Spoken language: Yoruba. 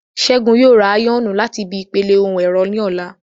Ṣẹ́gun yóò ra áyọ̀nù láti ibi ìpele ohun ẹ̀rọ ní ọ̀la